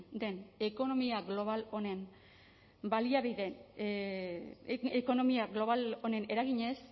den ekonomia global honen eraginez